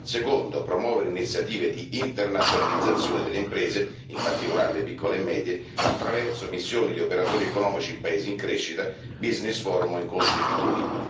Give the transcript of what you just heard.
Secondo promuovere iniziative di internazionalizzazione delle imprese, in particolare le piccole e medie, attraverso missioni di operatori economici in paesi in crescita, business forum o incontri B to B